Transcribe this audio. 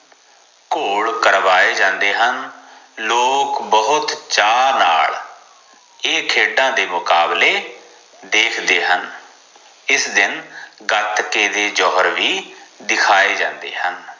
ਘੋਲ ਕਰਵਾਏ ਜਾਂਦੇ ਹਨ ਲੋਗ ਬਹੁਤ ਚਾ ਨਾਲ ਏ ਖੇੜਾ ਦੇ ਮੁਕਾਬਲੇ ਦੇਖਦੇ ਹਨ ਇਸ ਦਿਨ ਗਾਟ ਕੇ ਦੇ ਜੌਹਰ ਵੀ ਦਿਖਾਏ ਜਾਂਦੇ ਹਨ